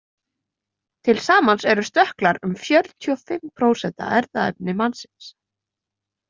Til samans eru stökklar um fjörutíu og fimm prósent af erfðaefni mannsins.